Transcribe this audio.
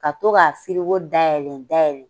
Ka to k' a firiko da yɛlɛn da yɛlɛlɛn